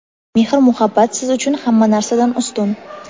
mehr-muhabbat siz uchun hamma narsadan ustun.